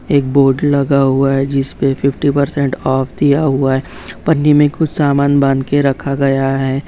एक बोर्ड लगा है जिस पर फिफ्टी परसेंट ऑफ दिया हुआ है पन्नी में कुछ सामान बांध के रखा गया है।